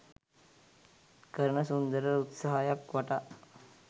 කරන සුන්දර උත්සාහයක් වටා